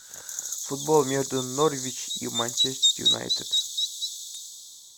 футбол между норвич и манчестер юнайтед